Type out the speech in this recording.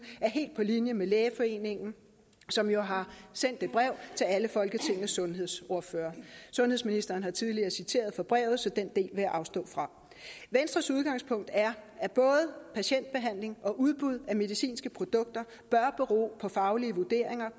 er helt på linje med lægeforeningen som jo har sendt et brev til alle folketingets sundhedsordførere sundhedsministeren har tidligere citeret fra brevet så den vil jeg afstå fra venstres udgangspunkt er at både patientbehandling og udbud af medicinske produkter bør bero på faglige vurderinger